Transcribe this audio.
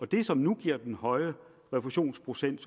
det som nu giver den høje refusionsprocent